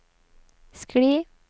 skli